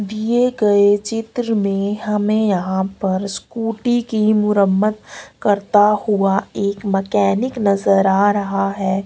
दिए गए चित्र में हमें यहां पर स्कूटी की मुरम्मत करता हुआ एक मैकेनिक नजर आ रहा है।